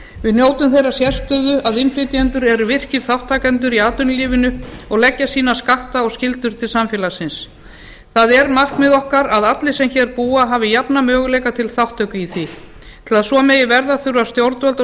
við njótum þeirrar sérstöðu að innflytjendur eru virkir þátttakendur í atvinnulífinu og leggja sína skatta og skyldur til samfélagsins það er markmið okkar að allir sem hér búa hafi jafna möguleika til þátttöku í því til að svo megi verða þurfa stjórnvöld og